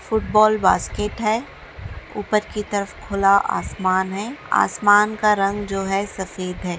फूट बाल बास्केट है| ऊपर की तरफ से खुला आसमान है| आसमान का रंग है जो है सफेद है।